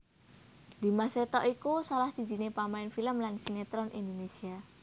Dimas Seto iku salah sijiné pamain film lan sinetron Indonésia